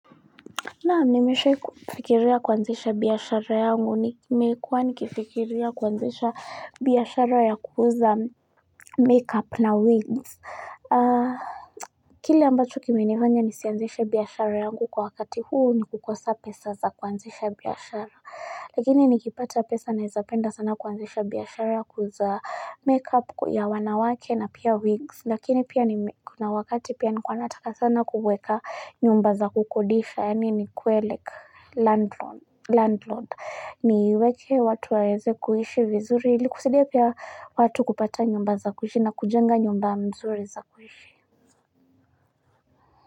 Naa nimeshe kufikiria kwanzisha biyashara yangu ni meikuwa nikifikiria kwanzisha biyashara ya kuuza make up na wings kile ambacho kiminifanya nisianzisha biyashara yangu kwa wakati huu ni kukosa pesa za kwanzisha biyashara Lakini nikipata pesa naezapenda sana kuanzisha biashara kuuza make up ya wanawake na pia wigs lakini pia ni kuna wakati pia nikuanataka sana kuweka nyumba za kukodisha yani ni kueleka Landlord ni iweke watu waweze kuhishi vizuri ili kusidia pia watu kupata nyumba za kuhishi na kujenga nyumba mzuri za kuhishi.